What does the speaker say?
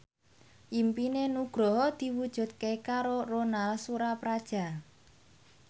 impine Nugroho diwujudke karo Ronal Surapradja